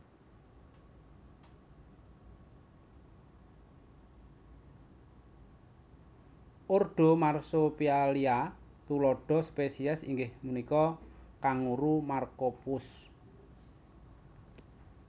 Ordo Marsopialia tuladha spesies inggih punika kanguru marcopus